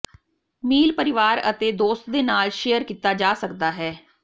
ਮੀਲ ਪਰਿਵਾਰ ਅਤੇ ਦੋਸਤ ਦੇ ਨਾਲ ਸ਼ੇਅਰ ਕੀਤਾ ਜਾ ਸਕਦਾ ਹੈ